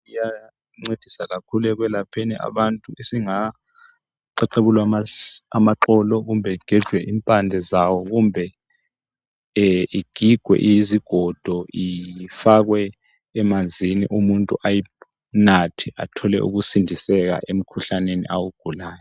kuyancediswa kakhulu ekwelapheni abantu esingaxexebulwa amaxolo kumbe kugejwe impande zawo kumbe igigwe izigodo ifakwe emanzini umuntu ayinathe athole ukusindiseka emkhuhlaneni awugulayo